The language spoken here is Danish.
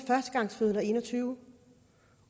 førstegangsfødende og en og tyve